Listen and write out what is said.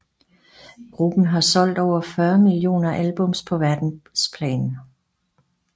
Gruppen har solgt over 40 millioner albums på verdensplan